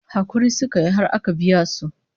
Hakuri suka yi har aka biya su